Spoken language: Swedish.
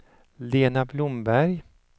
Lena Blomberg